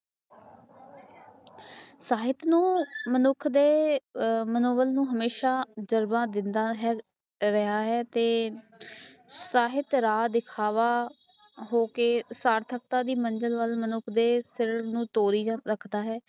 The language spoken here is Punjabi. ਸਾਹਿਤ ਨੂੰ ਮਨੁੱਖ ਦੇ ਆ ਮਨੋਰੰਜਨ ਲਈ ਹਮੇਸ਼ਾ ਜਜ਼ਬਾ ਦੀਦਾਂ ਹੈ ਰਿਹਾ ਹੈ ਸਾਹਿਤ ਰਾਹ ਦਿਖਾਵਾ ਹੋਕੇ ਸਾਰਥਤਾ ਦੀ ਮੰਜਿਲ ਵੱਲ ਮਨੁੱਖ ਦੇ ਸਰੀਰ ਨੂੰ ਤੋੜੀ ਰੱਖਦਾ ਹੈ